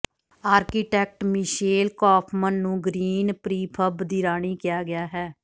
architect Michelle Kaufmann ਨੂੰ green prefab ਦੀ ਰਾਣੀ ਕਿਹਾ ਗਿਆ ਹੈ